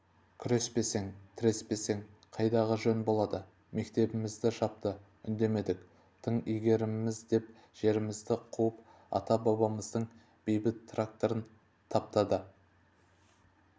күреспесең тіреспесең қайдағы жөн болады мектебімізді жапты үндемедік тың игереміз деп жерімізден қуып ата-бабамыздың бейтін трактормен таптады қыңқ